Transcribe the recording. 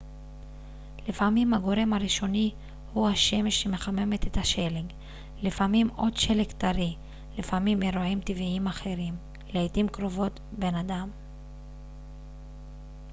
לפעמים הגורם הראשוני הוא השמש שמחממת את השלג לפעמים עוד שלג טרי לפעמים אירועים טבעיים אחרים לעתים קרובות בן אדם